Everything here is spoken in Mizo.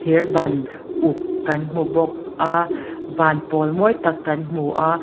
thir ban uk kan hmu bawk a van pawl mawi tak kan hmu a.